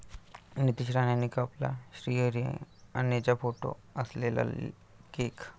नितेश राणेंनी कापला श्रीहरी अणेंचा फोटो असलेला केक!